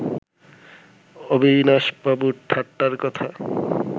অবিনাশবাবুর ঠাট্টার কথা